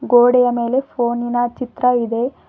ಗೋಡೆಯ ಮೇಲೆ ಫೋನಿನ ಚಿತ್ರ ಇದೆ.